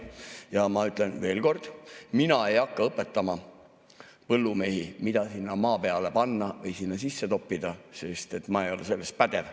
Ja ma ütlen veel kord, et mina ei hakka õpetama põllumehi, mida sinna maa peale panna või sinna sisse toppida, sest ma ei ole selles pädev.